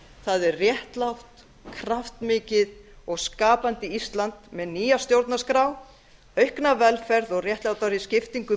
það er réttlátt kraftmikið og skapandi ísland með nýja stjórnarskrá aukna velferð og réttlátari skiptingu